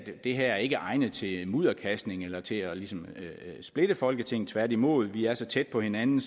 det her ikke er egnet til mudderkastning eller til ligesom at splitte folketinget tværtimod vi er så tæt på hinanden